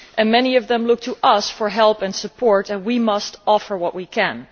Many of them look to us for help and support and we must offer what we can.